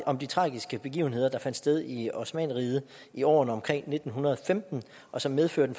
om de tragiske begivenheder der fandt sted i osmannerriget i årene omkring nitten femten og som medførte